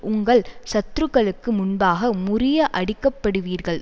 உங்கள் சத்துருக்களுக்கு முன்பாக முறிய அடிக்கப்படுவீர்கள்